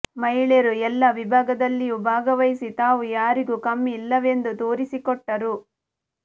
ಮಹಿಳೆಯರೂ ಎಲ್ಲಾ ವಿಭಾಗದಲ್ಲಿಯೂ ಭಾಗವಹಿಸಿ ತಾವೂ ಯಾರಿಗೂ ಕಮ್ಮಿ ಇಲ್ಲವೆಂದು ತೋರಿಸಿಕೊಟ್ಟರು